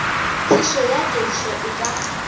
phišo ya kedišo e ka